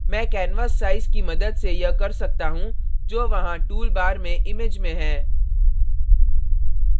मैं canvas size की मदद से यह कर सकता हूँ जो वहां tool bar में image में है